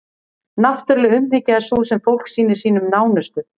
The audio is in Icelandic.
náttúruleg umhyggja er sú sem fólk sýnir sínum nánustu